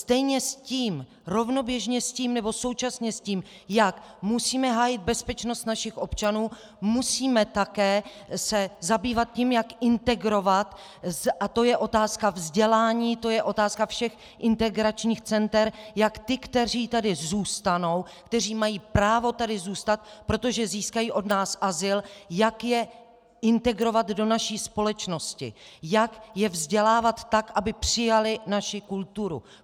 Stejně s tím, rovnoběžně s tím nebo současně s tím, jak musíme hájit bezpečnost našich občanů, musíme také se zabývat tím, jak integrovat - a to je otázka vzdělání, to je otázka všech integračních center - jak ty, kteří tady zůstanou, kteří mají právo tady zůstat, protože získají od nás azyl, jak je integrovat do naší společnosti, jak je vzdělávat tak, aby přijali naši kulturu.